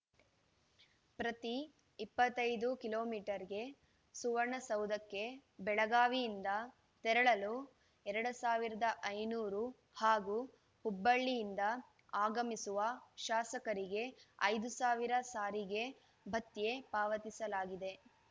ಪ್ರತಿ ಇಪ್ಪತ್ತೈದು kilometre ಗೆ ಸುವರ್ಣಸೌಧಕ್ಕೆ ಬೆಳಗಾವಿಯಿಂದ ತೆರಳಲು ಎರಡ್ ಸಾವಿರದ ಐನೂರು ಹಾಗೂ ಹುಬ್ಬಳ್ಳಿಯಿಂದ ಆಗಮಿಸುವ ಶಾಸಕರಿಗೆ ಐದು ಸಾವಿರ ಸಾರಿಗೆ ಭತ್ಯೆ ಪಾವತಿಸಲಾಗಿದೆ